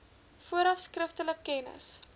vooraf skriftelik kennis